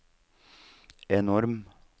enorm